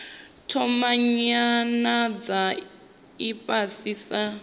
thoma nyanano dza ifhasi sa